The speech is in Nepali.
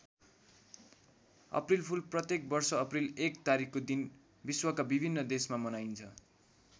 अप्रिलफुल प्रत्येक वर्ष अप्रिल १ तारिखको दिन विश्वका विभिन्न देशमा मनाइन्छ।